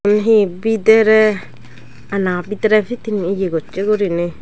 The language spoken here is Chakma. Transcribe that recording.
egun he bidiray ana bidiri piting eya gossi gorinay.